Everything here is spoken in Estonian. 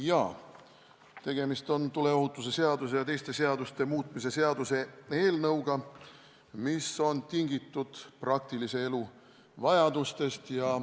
Jaa, tegemist on tuleohutuse seaduse ja teiste seaduste muutmise seaduse eelnõuga, mis on tingitud praktilise elu vajadustest.